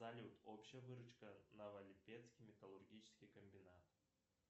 салют общая выручка новолипецкий металлургический комбинат